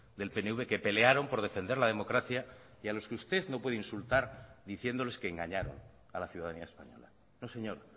del pnv que pelearon por defender la democracia y a los que usted no puede insultar diciéndoles que engañaron a la ciudadanía española no señor